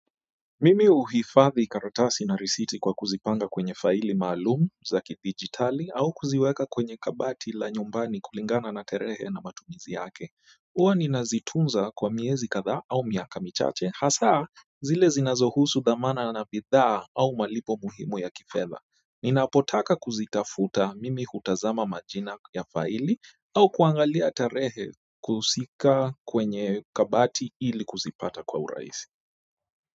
Mimi huhifadhi karatasi na risiti kwa kuzipanga kwenye fili maalum za kidijitali au kuziweka kwenye kabati la nyumbani kulingana na tarehe na matumizi yake huwa ninazitunza kwa miezi kadhaa au miaka michache hasaa zile zinazohusu dhamana na na bidhaa au malipo muhimu ya kifedha ninapotaka kuzitafuta mimi hutazama majina ya faili au kuangalia tarehe kusika kwenye kabati ili kuzipata kwa urahisi.